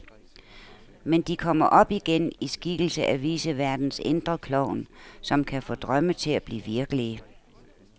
Men de kommer op igen, i skikkelse af viceværtens indre klovn, som kan få drømme til at blive virkelige.